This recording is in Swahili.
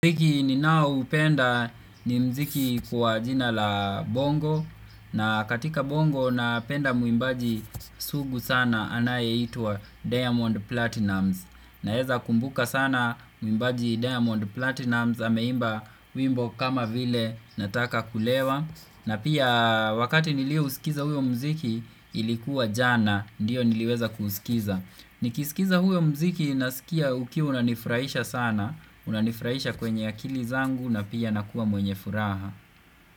Mziki ninao upenda ni mziki kwa jina la bongo na katika bongo napenda muimbaji sugu sana anaye itua Diamond Platinums na heza kumbuka sana muimbaji Diamond Platinums Hameimba wimbo kama vile nataka kulewa na pia wakati niliusikiza huyo mziki ilikuwa jana Ndiyo niliweza kusikiza Nikisikiza huyo mziki nasikia ukiu unanifraisha sana Unanifraisha kwenye akili zangu na pia nakua mwenye furaha.